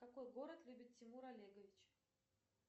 какой город любит тимур олегович